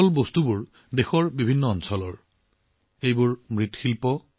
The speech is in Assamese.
এই বিৰল বস্তুবোৰ দেশৰ বিভিন্ন অঞ্চলৰ বুলি জানিও আপুনি আনন্দিত হব